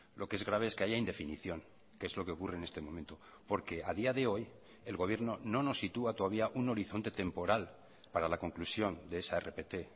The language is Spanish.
lo que es grave es que haya indefinición que es lo que ocurre en este momento porque a día de hoy el gobierno no nos sitúa todavía un horizonte temporal para la conclusión de esa rpt